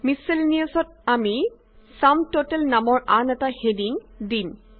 miscellaneous ত আমি sum total নামৰ আন এটা হেডিংদিম